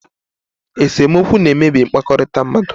Esemokwu na-emebi mkpakọrịta mmadụ.